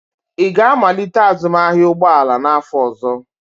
Ị ga-amalite azụmahịa ụgbọ ala n'afọ ọzọ?